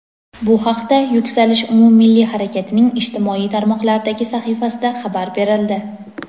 Bu haqda "Yuksalish" umummilliy harakatining ijtimoiy tarmoqlardagi sahifasida xabar berildi.